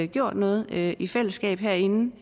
gjort noget i i fællesskab herinde